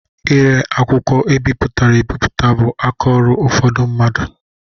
Ire akwụkwọ e bipụtara ebipụta bụ aka ọrụ ụfọdụ mmadụ.